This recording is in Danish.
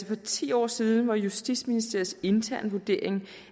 for ti år siden var justitsministeriets interne vurdering